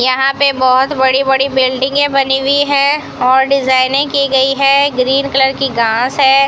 यहां पे बहोत बड़ी बड़ी बिल्डिंगें बनी हुई है और डिजाइने की गई है ग्रीन कलर की घास है।